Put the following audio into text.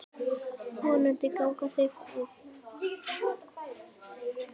Vonandi ganga þau áform eftir.